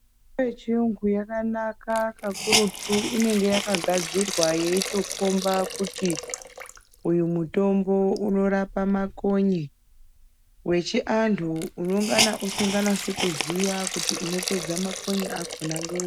Mitombo yechiyungu yakanaka kakurutu inenge yakagadzirwa yeitokhomba kut,i uyu mutombo unorapa makonye .Wechiantu unongana usinganasi kuziya kuti unopeddza makonye akhona ngeuri.